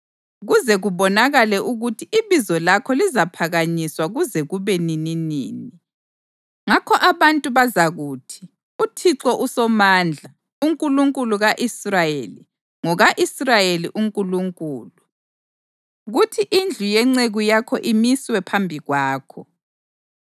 kuze kubonakale ukuthi ibizo lakho lizaphakanyiswa kuze kube nininini. Ngakho abantu bazakuthi, ‘ UThixo uSomandla, uNkulunkulu ka-Israyeli, ngoka-Israyeli uNkulunkulu!’ Kuthi indlu yenceku yakho imiswe phambi kwakho.